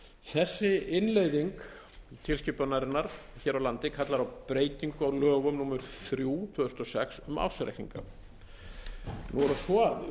þessi innleiðing tilskipunarinnar hér á landi kallar á breytingu á lögum númer þrjú tvö þúsund og sex um ársreikninga nú er það svo að